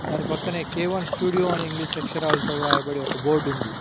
దాని పక్కనే K one studio అని ఇంగ్లీష్ అక్షరాలతో రాయబడి ఒక బోర్డు ఉంది.